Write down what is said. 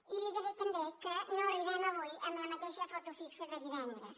i li diré també que no arribem avui amb la mateixa foto fixa de divendres